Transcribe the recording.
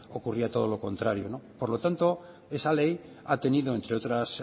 ocurría todo lo contrario no por lo tanto esa ley ha tenido entre otras